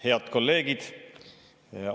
Head kolleegid!